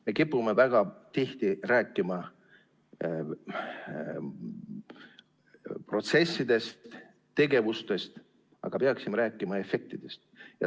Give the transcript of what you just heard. Me kipume väga tihti rääkima protsessidest, tegevustest, aga peaksime rääkima efektist.